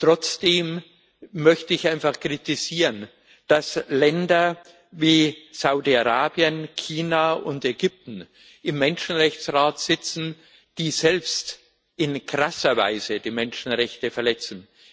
Trotzdem möchte ich einfach kritisieren, dass Länder wie Saudi Arabien, China und Ägypten im Menschenrechtsrat sitzen, die selbst in krasser Weise die Menschenrechte verletzen.